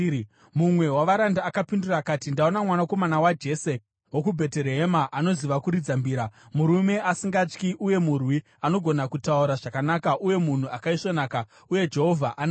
Mumwe wavaranda akapindura akati, “Ndaona mwanakomana waJese wokuBheterehema anoziva kuridza mbira. Murume asingatyi uye murwi. Anogona kutaura zvakanaka uye munhu akaisvonaka. Uye Jehovha anaye.”